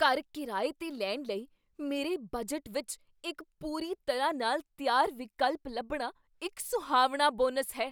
ਘਰ ਕਿਰਾਏ 'ਤੇ ਲੈਣ ਲਈ ਮੇਰੇ ਬਜਟ ਵਿੱਚ ਇੱਕ ਪੂਰੀ ਤਰ੍ਹਾਂ ਨਾਲ ਤਿਆਰ ਵਿਕਲਪ ਲੱਭਣਾ ਇੱਕ ਸੁਹਾਵਣਾ ਬੋਨਸ ਹੈ।